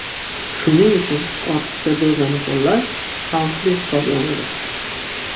Shuning uchun ortiqcha dozani qo‘llash xavfli hisoblanadi.